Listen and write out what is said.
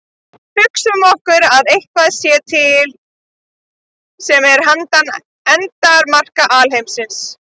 Hugsum okkur að eitthvað sé til sem er handan endimarka alheimsins.